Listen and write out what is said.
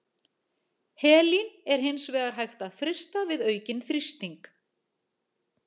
Helín er hins vegar hægt að frysta við aukinn þrýsting.